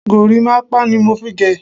Gorímápá ni mo gé.